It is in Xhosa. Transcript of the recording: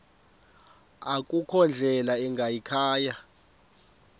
akukho ndlela ingayikhaya